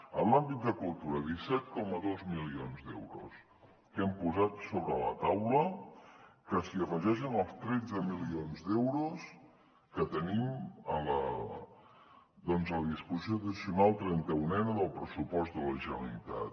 en l’àmbit de cultura disset coma dos milions d’euros que hem posat sobre la taula que s’hi afegeixen els tretze milions d’euros que tenim doncs a la disposició addicional trenta unena del pressupost de la generalitat